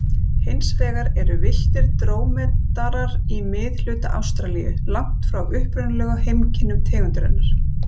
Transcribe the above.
Hins vegar eru villtir drómedarar í miðhluta Ástralíu, langt frá upprunalegu heimkynnum tegundarinnar.